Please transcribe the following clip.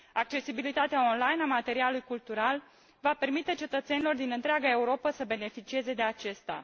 Accesibilitatea online a materialului cultural va permite cetățenilor din întreaga Europă să beneficieze de acesta.